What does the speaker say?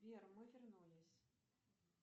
сбер мы вернулись